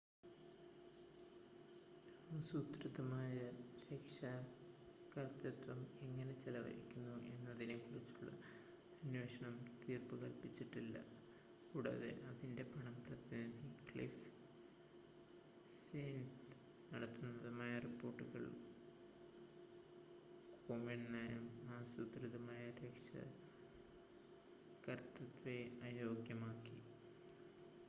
ആസൂത്രിതമായ രക്ഷാകർതൃത്വം എങ്ങനെ ചെലവഴിക്കുന്നു എന്നതിനെക്കുറിച്ചുള്ള അന്വേഷണം തീർപ്പുകൽപ്പിച്ചിട്ടില്ല കൂടാതെ അതിൻ്റെ പണം പ്രതിനിധി ക്ലിഫ് സ്റ്റേൺസ് നടത്തുന്നതായ റിപ്പോർട്ടുകൾ കോമെൻ്റെ നയം ആസൂത്രിതമായ രക്ഷാകർതൃത്വത്തെ അയോഗ്യമാക്കി